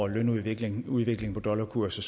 lønudviklingen og udviklingen i dollarkursen